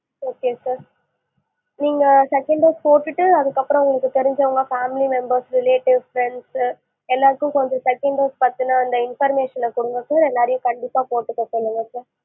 okay sir நீங்க second dose போட்டுட்டு அதுக்கு அப்பறம் உங்களுக்கு தெரிஞ்சவுங்க family relatives friends சு எல்லாருக்கும் கொஞ்சம் அந்த second dose பத்தின information ன கொடுங்க sir எல்லாரையும் கண்டிப்பா போட்டுக்க சொல்லுங்க sir